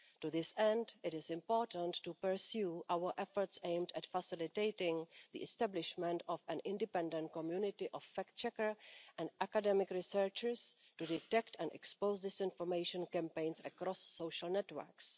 To this end, it is important to pursue our efforts aimed at facilitating the establishment of an independent community of fact checkers and academic researchers to detect and expose disinformation campaigns across social networks.